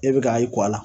E bɛ kayi kɔ la